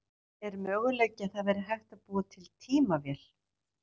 Er möguleiki að það væri hægt að búa til tímavél?